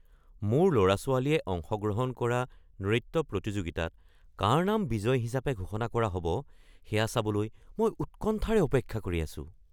মোৰ ল'ৰা-ছোৱালীয়ে অংশগ্ৰহণ কৰা নৃত্য প্ৰতিযোগিতাত কাৰ নাম বিজয়ী হিচাপে ঘোষণা কৰা হ'ব সেয়া চাবলৈ মই উৎকণ্ঠাৰে অপেক্ষা কৰি আছো।